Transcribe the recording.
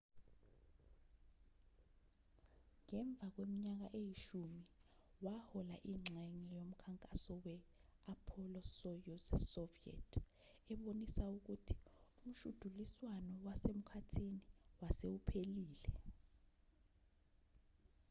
ngemva kweminyaka eyishumi wahola ingxenye yomkhankaso we-apollo-soyuz soviet ebonisa ukuthi umshudiliswano wasemkhathini wase uphelile